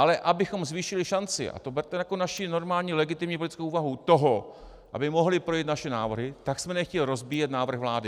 Ale abychom zvýšili šanci, a to berte jako naši normální legitimní politickou úvahu toho, aby mohly projít naše návrhy, tak jsme nechtěli rozbíjet návrh vlády.